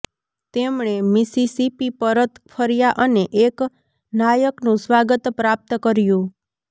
તેમણે મિસિસિપી પરત ફર્યાં અને એક નાયકનું સ્વાગત પ્રાપ્ત કર્યું